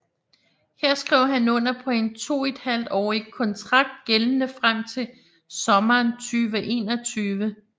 Her skrev han under på en toethalvtårig konntrakt gældende frem til sommeren 2021